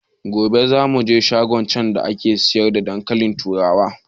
Gobe za muje shagon can da ake siyar da dankalin turawa